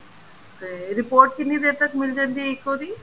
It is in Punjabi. ਤੇ report ਕਿੰਨੀ ਦੇਰ ਤੱਕ ਮਿਲ ਜਾਂਦੀ ਏ ECO ਦੀ